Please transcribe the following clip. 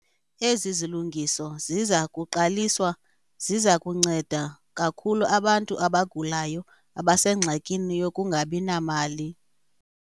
Ezi zilungiso ziza kuqaliswa ziza kunceda kakhulu abantu abagulayo abasengxakini yokungabi namali.